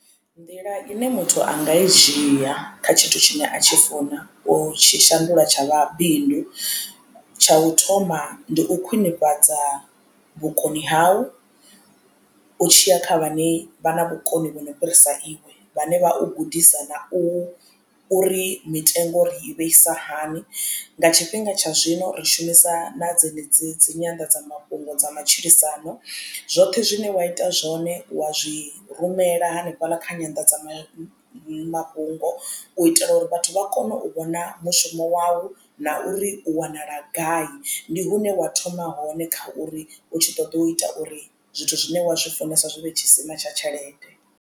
Nḓila ine muthu anga i dzhia kha tshithu tshine muthu a tshi funa utshi shandula tsha vha bindu tsha u thoma ndi u khwiṋifhadza vhukoni hau u tshiya kha vhane vha na vhukoni vhu no fhirisa iwe vhane vha u gudisa na u uri mitengo ri i vheisa hani. Nga tshifhinga tsha zwino ri shumisa na dzenedzi dzi nyanḓadzamafhungo dza matshilisano zwoṱhe zwine wa ita zwone wa zwi rumela hanefhaḽa kha nyandadzamafhungo u itela uri vhathu vha kone u vhona mushumo wau na uri u wanala gai ndi hune wa thoma hone kha uri u tshi ṱoḓa u ita uri zwithu zwine wa zwifunesa zwivhe tshisima tsha tshelede.